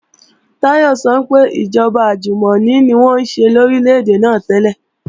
Táyọ̀ sọ pé ìjọba àjùmọ̀ni ni wọ́n ṣe ní Orílè-èdè náà tẹ́lẹ̀